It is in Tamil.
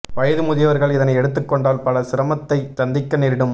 வயது முதியவர்கள் இதனை எடுத்துக்கொண்டால் பல சிரமத்தை சந்திக்க நெரிடும்